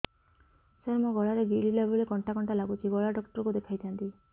ସାର ମୋ ଗଳା ରେ ଗିଳିଲା ବେଲେ କଣ୍ଟା କଣ୍ଟା ଲାଗୁଛି ଗଳା ଡକ୍ଟର କୁ ଦେଖାଇ ଥାନ୍ତି